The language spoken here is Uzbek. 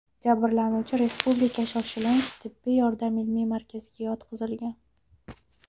Jabrlanuvchi Respublika shoshilinch tibbiy yordam ilmiy markaziga yotqizilgan.